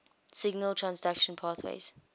signal transduction pathways